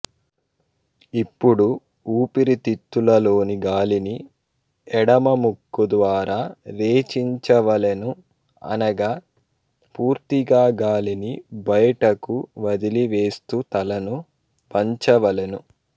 ఇప్పుడు ఊపిరితిత్తులలోని గాలిని ఎడమముక్కు ద్వారా రేచించవలెను అనగ పూర్తిగా గాలిని బైటకు వదలి వేస్తూ తలను వంచవలెను